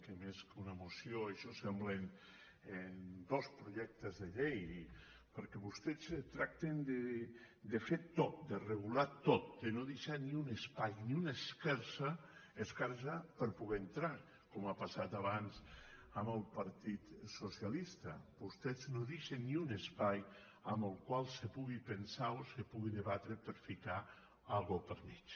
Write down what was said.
que més que una moció això semblen dos pro·jectes de llei perquè vostès tracten de fer·ho tot de regular·ho tot de no deixar ni un espai ni una esquer·da per poder entrar com ha passat abans amb el partit socialista vostès no deixen ni un espai en el qual se pugui pensar o se pugui debatre per a ficar alguna co·sa pel mig